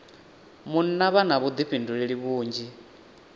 munna vha na vhuḓifhinduleli vhunzhi